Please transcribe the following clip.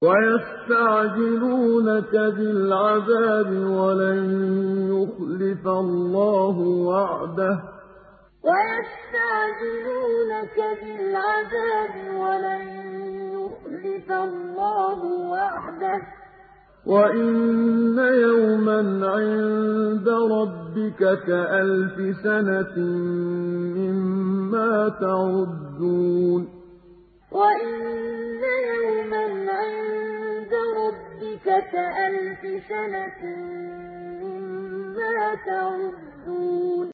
وَيَسْتَعْجِلُونَكَ بِالْعَذَابِ وَلَن يُخْلِفَ اللَّهُ وَعْدَهُ ۚ وَإِنَّ يَوْمًا عِندَ رَبِّكَ كَأَلْفِ سَنَةٍ مِّمَّا تَعُدُّونَ وَيَسْتَعْجِلُونَكَ بِالْعَذَابِ وَلَن يُخْلِفَ اللَّهُ وَعْدَهُ ۚ وَإِنَّ يَوْمًا عِندَ رَبِّكَ كَأَلْفِ سَنَةٍ مِّمَّا تَعُدُّونَ